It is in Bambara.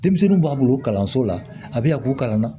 Denmisɛnninw b'a bolo kalanso la a bɛ na k'u kalan na